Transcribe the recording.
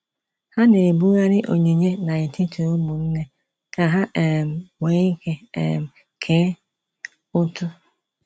Ha na-ebughari onyinye ha n'etiti ụmụnne ka ha um nweike um kee ụtụ